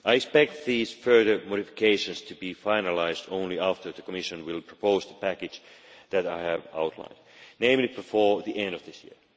I expect these further modifications to be finalised only after the Commission proposes the package that I have outlined, namely before the end of this year.